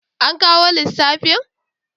An kawo lissafin?